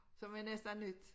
Som er næsten nyt